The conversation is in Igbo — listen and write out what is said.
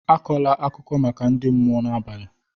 Akọla akụkọ maka ndị mmụọ n'abalị!